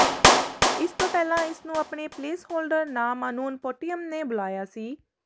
ਇਸ ਤੋਂ ਪਹਿਲਾਂ ਇਸਨੂੰ ਆਪਣੇ ਪਲੇਸਹੋਲਡਰ ਨਾਮ ਅਨੂਨਪੁਟਿਅਮ ਨੇ ਬੁਲਾਇਆ ਸੀ